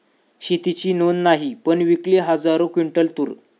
शेतीची नोंद नाही, पण विकली हजारो क्विंटल तूर